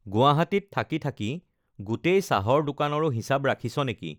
গুৱাহাটীত থাকি থাকি গোটেই চাহৰ দোকানৰো হিচাপ ৰাখিছ নেকি?